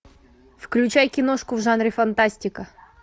включай киношку в жанре фантастика